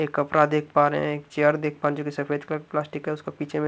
एक कपड़ा देख पा रहे हैं एक चेयर देख पा रहे जो कि सफेद कलर प्लास्टिक है उसका पीछे में--